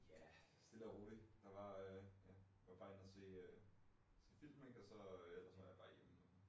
Ja. Stille og rolig. Der var øh ja var bare inde og se øh film ik og så øh ellers så var jeg bare hjemme